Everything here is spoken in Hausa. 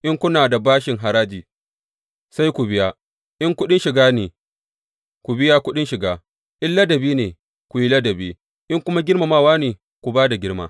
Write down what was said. In kuna da bashin haraji, sai ku biya; in kuɗin shiga ne, ku biya kuɗin shiga; in ladabi ne, ku yi ladabi; in kuma girmamawa ne, ku ba da girma.